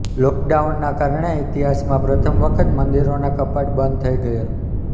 લોકડાઉનના કારણે ઈતિહાસમાં પ્રથમ વખત મંદિરોના કપાટ બંધ થઈ ગયેલ